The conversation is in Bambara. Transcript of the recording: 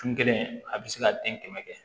Kun kelen a bɛ se ka den kɛmɛ kɛ